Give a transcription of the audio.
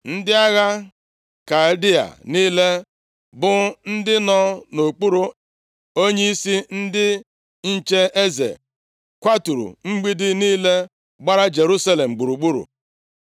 Ndị agha Kaldịa niile bụ ndị nọ nʼokpuru onyeisi ndị nche eze kwaturu mgbidi niile gbara Jerusalem gburugburu.